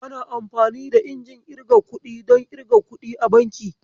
Ana amfani da injin irga kuɗi don irga kuɗi a banki.